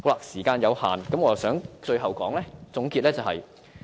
時間有限，讓我作出最後總結。